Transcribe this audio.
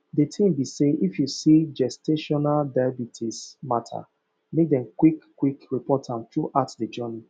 the tin be say if you see gestational diabetes matter make dem qik qik report am throughout the journey